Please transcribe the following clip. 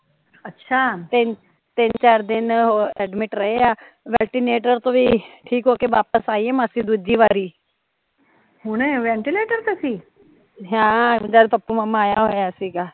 ਅੱਛਾ ਤੈਂ ਚਾਰ ਦਿਨ ਰਹੇ ਆ, ਤੋਂ ਵੀ ਠੀਕ ਹੋਕੇ ਵਾਪਸ ਆਈ ਹ ਮੰਜੀ ਦੂਜੀ ਵਾਰੀ